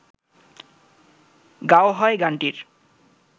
গাওয়া হয় গানটির